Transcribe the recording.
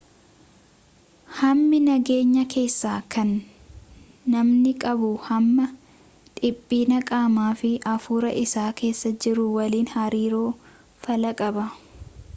hammii nageenya keessaa kan namni qabu hamma dhiphina qaamaa fi afuura isaa keessa jiru waliin hariiroo faallaa qaba